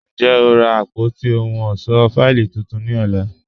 Njẹ́, a n rá àpótí òhùn ọṣọ́ fáìlì tuntun ní ọ̀là?